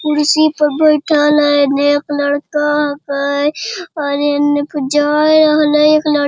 कुर्सी पर बैठएल हेय एने एक लड़का हके और एने पर जाय हले एक लड़ --